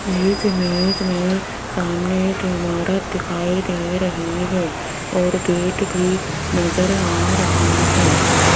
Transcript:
इस इमेज में सामने एक इमारत दिखाई दे रही है और गेट भी नजर आ रहा है।